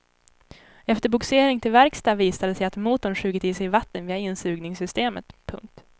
Efter bogsering till verkstad visade det sig att motorn sugit i sig vatten via insugningssystemet. punkt